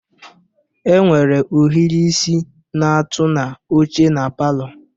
Enwere ohiri isi na-atụ na oche na palọ.